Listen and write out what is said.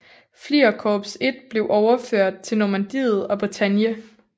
Fliegerkorps I blev overført til Normandiet og Bretagne